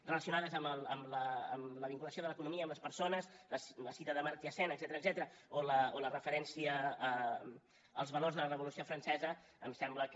relacionades amb la vinculació de l’economia amb les persones la cita d’amartya sen etcètera o la referència als valors de la revolució francesa em sembla que